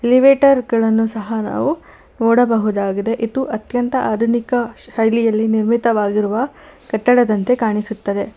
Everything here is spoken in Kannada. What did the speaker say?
ಏಲಿವೆಟರ್ ಗಳನ್ನು ಸಹ ನಾವು ನೋಡಬಹುದಾಗಿದೆ ಇದು ಅತ್ಯಂತ ಆಧುನಿಕ ಶೈಲಿಯಲ್ಲಿ ನಿರ್ಮಿತವಾಗಿರುವ ಕಟ್ಟಡದಂತೆ ಕಾಣಿಸುತ್ತದೆ.